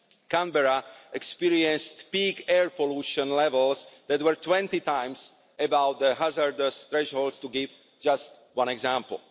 Canberra experienced peak air pollution levels that were 20 times above the hazardous threshold, to give just one example.